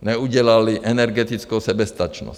neudělali energetickou soběstačnost.